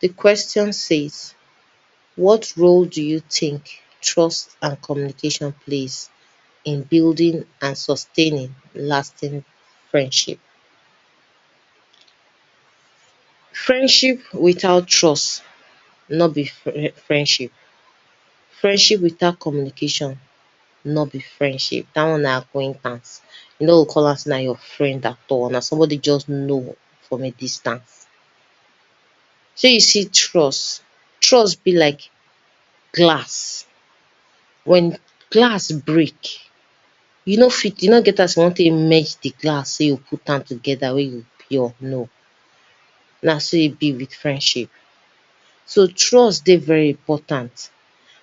Di question says what role do you think trust and communication plays in building and sustaining lasting friendship? F riendship without trust nor be friendship, friendship without communication nor be friendship dat one na your acquaintance you nor go call am sey na your friend at all, na somebody wey you just know from a distant. Shey you see trust trust be like glass, wen trust break you no fit e no get as you wan take merge di glass make you put am together make e pure no, na so e be with friendship so trust dey very important,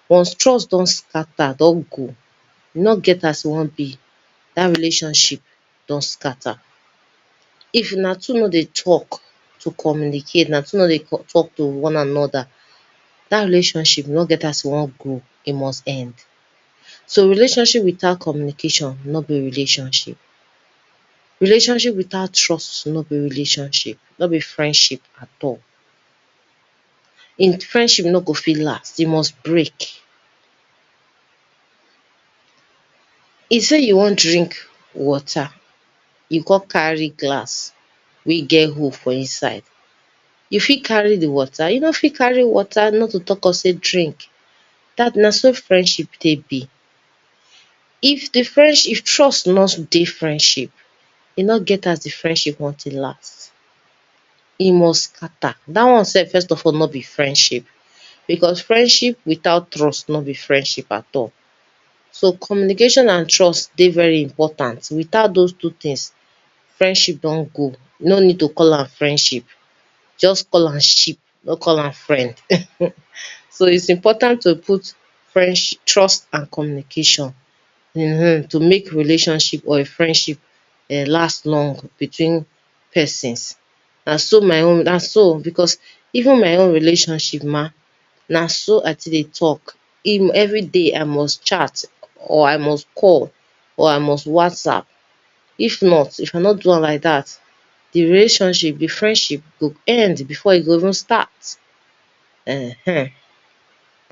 once trust don scatter e don go e no get as e wan be dat relationship don scatter, if una two nor dey talk to communicate, if una two nor dey talk to one another, dat relationship e no get as e wan go e must end, so relationship without communication nor be relationship, relationship without trust nor be relationship nor be friendship at all, di friendship nor go fit last, dem must break. If sey you wan drink water, you come carry glass wey get hole for inside, you fit carry di water, you nor fit carry water not to talk of sey drink, na so friendship take be, if friend if trust nor dey di friendship e nor get as di friendship wan take last, e must scatter, dat one sef nor be friendship because friendship without trust nor be friendship at all, so communication and trust dey very important without doz two things friendship don go no need to call am friendship, just call am ship nor call am friend. So is important to put friendsh, trust and communication to make friendship or relationship last long between two persons, na so my own, na oh because, ev en my own relationship ma, na s o I take dey talk, every day I must chat or I must call, or I must whatsapp, if not if I nor do am like dat, di relationship, di friendship go end before e go even start ehen.